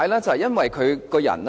就是因為他的為人。